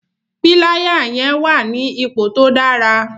Píláyà yẹn wà ní ipò tó dára.